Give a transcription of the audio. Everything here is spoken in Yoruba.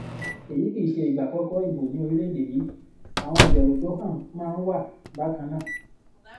èyí kì í ṣe ìgbà àkọkọ ìbò ní orílẹèdè yìí àwọn ìbẹrù tó han máa ń wà bákan náà